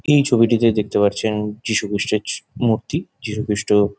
এই ছবিটিতে দেখতে পাচ্ছন যিশুখ্রিষ্টর জু মূর্তি। যিশুখ্রিষ্ট --